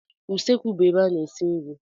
Usekwu bụ ebe a na-esi nri.